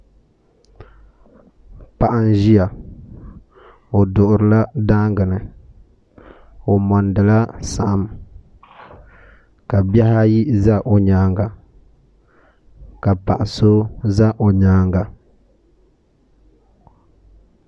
Paɣa n ʒia o duɣurila daanga ni o mondila saɣim ka bihi ayi za o nyaanga ka paɣa so za o nyaanga.